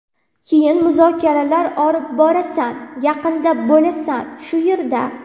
Keyin muzokaralar olib borasan, yaqinda bo‘lasan, shu yerda”.